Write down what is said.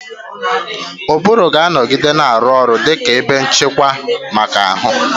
Ụbụrụ ga-anọgide na-arụ ọrụ dị ka ebe nchịkwa maka ahụ.